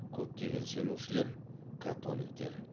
көптеген сенушілер католиктер